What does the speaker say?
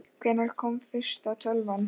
Hvenær kom fyrsta tölvan?